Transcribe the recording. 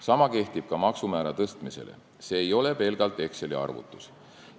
Sama kehtib ka maksumäära tõstmise kohta, see ei ole pelgalt Exceli arvutus.